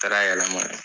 Taara yɛlɛma